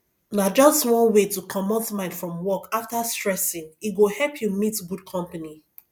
na just one wey to comot mind from work after stressing e go help you meet good company